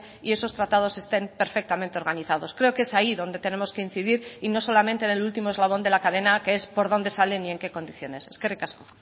y esos tratados estén perfectamente organizados creo que es ahí donde tenemos que incidir y no solamente en el último eslabón de la cadena que es por dónde salen y en qué condiciones eskerrik asko